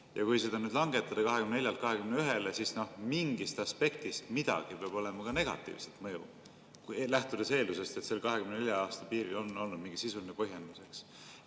Ja kui seda nüüd langetada 24-lt 21-le, siis mingist aspektist midagi peab olema ka negatiivse mõjuga, lähtudes eeldusest, et 24 aasta piiril on olnud mingi sisuline põhjendus.